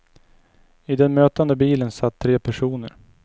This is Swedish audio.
I den mötande bilen satt tre personer.